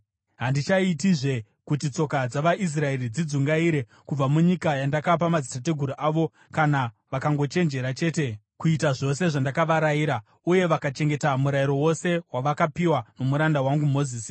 Handichaitizve kuti tsoka dzavaIsraeri dzidzungaire kubva munyika yandakapa madzitateguru avo, kana vakangochenjera chete kuita zvose zvandakavarayira uye vakachengeta Murayiro wose wavakapiwa nomuranda wangu Mozisi.”